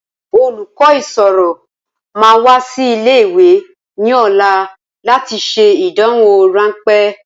Olùkọ́ ìṣirò máa wá sí ilé ìwé ní ọ̀la láti ṣe ìdánwò rànpé